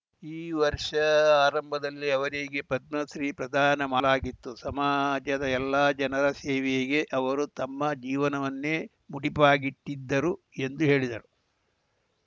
ಈ ವರ್ಷಾಆರಂಭದಲ್ಲಿ ಅವರಿಗೆ ಪದ್ಮಶ್ರೀ ಪ್ರದಾನ ಮಾಡಲಾಗಿತ್ತು ಸಮಾಜದ ಎಲ್ಲ ಜನರ ಸೇವೆಗೆ ಅವರು ತಮ್ಮ ಜೀವನವನ್ನೇ ಮುಡಿಪಾಗಿಟ್ಟಿದ್ದರು ಎಂದು ಹೇಳಿದರು